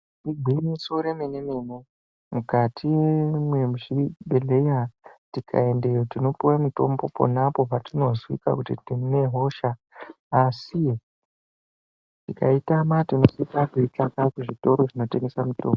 Igwinyiso remenemene mukati mwezvibhedhleya tikaendeyo tinopuwe mitombo ponapo patizwikwa kuti tine hosha asi tikaitama tinosisa kuitsvaka kuzvitoro zvinotengesa mitombo.